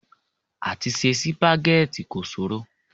Àti se sìpàgẹ́tì kò ṣòro.